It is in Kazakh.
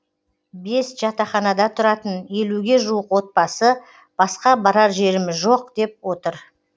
бес жатақханада тұратын елуге жуық отбасы басқа барар жеріміз жоқ деп отыр